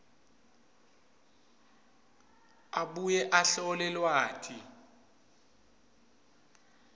abuye ahlole lwati